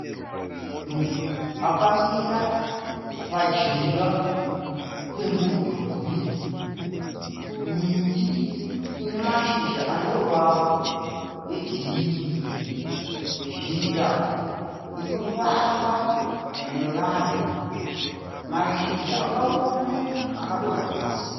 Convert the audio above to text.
Munhu akamira pajinga pemudhuri. Miti ine mashizha aneruvara rwegirini. Zhira inofambwa nevanhu. Mashizha akaoma akadonha pasi.